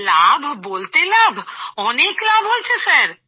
লাভ বলতে লাভ অনেক লাভ হয়েছে স্যার